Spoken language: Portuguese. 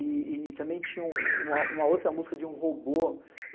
E também tinha uma outra música de um robô.